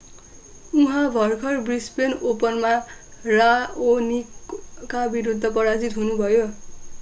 उहाँ भर्खर ब्रिसबेन ओपनमा राओनिकका विरूद्ध पराजित हुनुभयो